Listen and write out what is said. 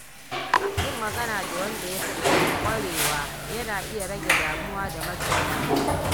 Yin magana da wanda ya fi ƙwarewa yana iya rage damuwa da matsin lamba.